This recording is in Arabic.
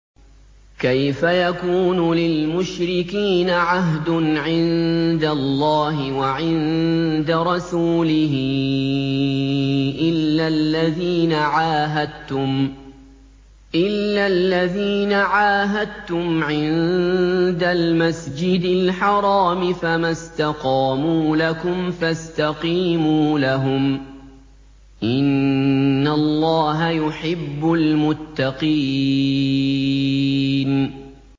كَيْفَ يَكُونُ لِلْمُشْرِكِينَ عَهْدٌ عِندَ اللَّهِ وَعِندَ رَسُولِهِ إِلَّا الَّذِينَ عَاهَدتُّمْ عِندَ الْمَسْجِدِ الْحَرَامِ ۖ فَمَا اسْتَقَامُوا لَكُمْ فَاسْتَقِيمُوا لَهُمْ ۚ إِنَّ اللَّهَ يُحِبُّ الْمُتَّقِينَ